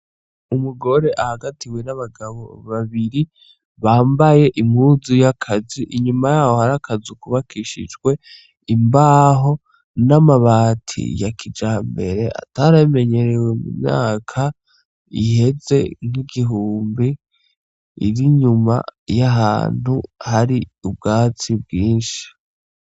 Umugore ahagatiwe n'abagabo babiri bambaye impuzu ya kazi, inyuma yaho hari akazu kubakishijwe imbaho n'amabati ya kijambere ataramenyerewe mu myaka iheze nk'igihumbi, iri inyuma y'ahantu hari ubwatsi bwinshi.